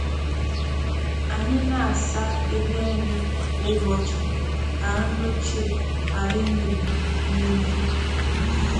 Anyị na-asa ebe nri kwa ụbọchị ka nri ochie ghara imebi n’ime ha.